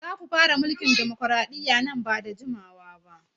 Za ku fara mulkin dimokraɗiyya nan ba da jimawa ba!